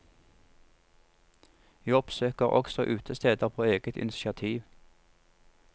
Vi oppsøker også utesteder på eget initiativ.